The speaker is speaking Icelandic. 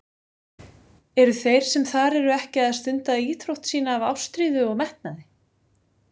Eru þeir sem þar eru ekki að stunda íþrótt sína af ástríðu og metnaði?